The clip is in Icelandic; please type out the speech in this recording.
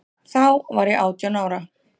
Þá var ég átján ára.